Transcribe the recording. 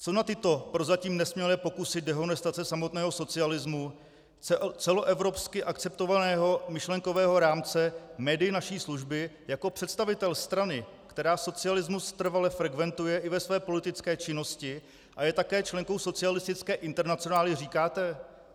Co na tyto prozatím nesmělé pokusy dehonestace samotného socialismu, celoevropsky akceptovatelného myšlenkového rámce, médii naší služby jako představitel strany, která socialismus trvale frekventuje i ve své politické činnosti a je také členkou Socialistické internacionály, říkáte?